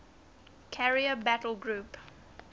carrier battle group